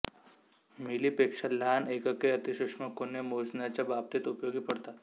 मिलीपेक्षा लहान एकके अतिसूक्ष्म कोने मोजण्याच्या बाबतीत उपयोगी पडतात